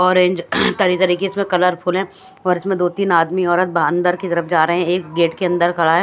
Orange तरह तरह के इसमें कलरफुल हैं और इसमें दो तीन आदमी औरत ब-अंदर की तरफ जा रहे हैं एक गेट के अंदर खड़ा हैं।